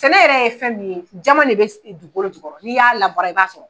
Sɛnɛ yɛrɛ ye fɛn min ye jama de bɛ dugukolo jukɔrɔ n'i y'a labaara i b'a sɔrɔ.